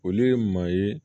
Olu ye maa ye